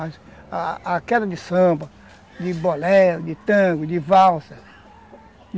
A queda de samba, de bolero, de tango, de valsa.